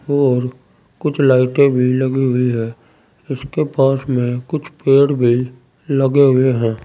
और कुछ लाइटें भी लगी हुई है इसके पास में कुछ पेड़ भी लगे हुए हैं।